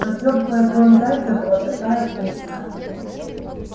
но тёплая кровь зайца была такая вкусная